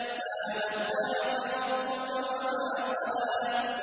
مَا وَدَّعَكَ رَبُّكَ وَمَا قَلَىٰ